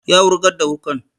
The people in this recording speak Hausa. Ya wurgar da wuƙan